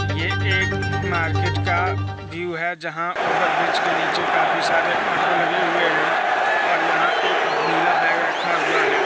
ये एक मार्केट का व्यू है जहां ओवरब्रिज के नीचे काफी सारे ऑटो लगे हुए है और यहां एक नीला बेग रखा हुआ है।